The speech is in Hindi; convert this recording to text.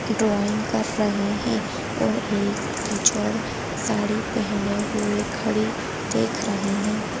ड्राइंग कर रहे हैं और एक टीचर साड़ी पहने हुए खड़ी देख रही हैं।